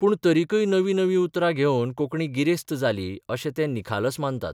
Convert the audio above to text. पूण तरिकय नवीं नवीं उतरां घेवन कोंकणी गिरेस्त जाली अशें ते निखालस माननात.